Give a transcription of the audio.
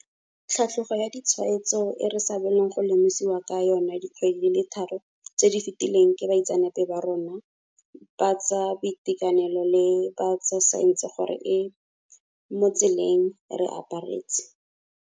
Tlhatlhogo ya ditshwaetso e re sa bolong go lemosiwa ka yona dikgwedi di le tharo tse di fetileng ke baitseanape ba rona ba tsa boitekanelo le ba tsa saense gore e mo tseleng, e re aparetse.